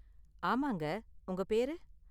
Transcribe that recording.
ஆமாங்க, உங்க பேரு?